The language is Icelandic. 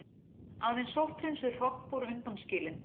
Aðeins sótthreinsuð hrogn voru undanskilin.